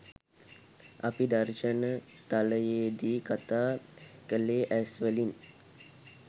අපි දර්ශන තලයේදී කතා කළේ ඇස්වලින්.